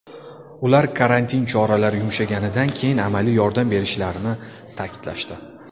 Ular karantin choralari yumshaganidan keyin amaliy yordam berishlarini ta’kidlashdi.